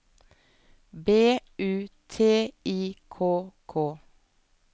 B U T I K K